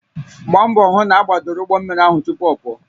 Gbaa mbọ hụ na agbadoro ụgbọ mmiri ahụ tupu ọ pụọ